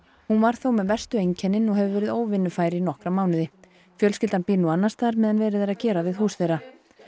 hún var þó með verstu einkennin og hefur verið óvinnufær í nokkra mánuði fjölskyldan býr nú annars staðar meðan verið er að gera við hús þeirra